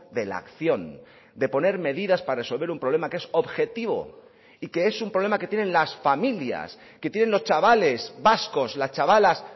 de la acción de poner medidas para resolver un problema que es objetivo y que es un problema que tienen las familias que tienen los chavales vascos las chavalas